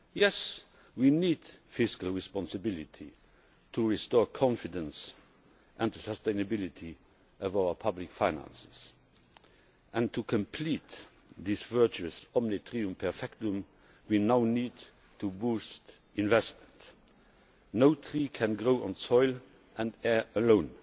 Yes, we need fiscal responsibility to restore confidence and the sustainability of our public finances and to complete this virtuous omne trium perfectum we now need to boost investment. No tree can grow on soil and air alone.